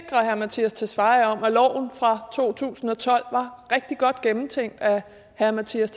herre mattias tesfaye om at loven fra to tusind og tolv var rigtig godt gennemtænkt af herre mattias